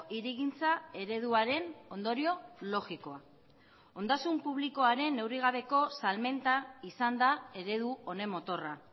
hirigintza ereduaren ondorio logikoa ondasun publikoaren neurrigabeko salmenta izan da eredu honen motorra